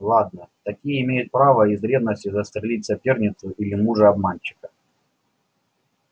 ладно такие имеют право из ревности застрелить соперницу или мужа-обманщика